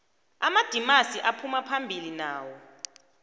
amadimasi aphumaphambili nawo